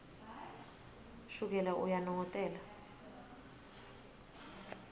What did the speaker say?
shukela uyanongotela